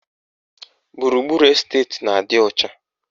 Gburugburu esteti na-adị ọcha